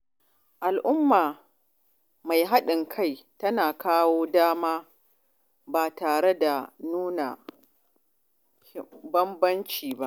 Al’umma mai haɗin kai tana ba kowa dama, ba tare da nuna bambanci ba.